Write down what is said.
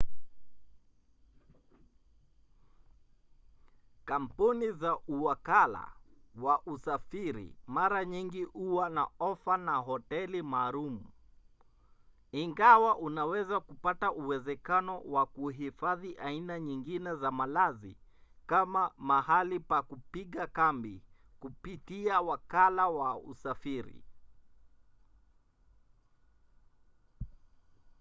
kampuni za uwakala wa usafiri mara nyingi huwa na ofa na hoteli maalum ingawa unaweza kupata uwezekano wa kuhifadhi aina nyingine za malazi kama mahali pa kupiga kambi kupitia wakala wa usafiri